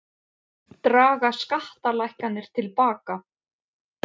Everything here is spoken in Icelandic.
Draga skattalækkanir til baka